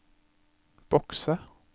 bokse